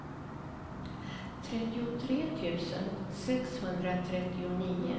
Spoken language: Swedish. trettiotre tusen sexhundratrettionio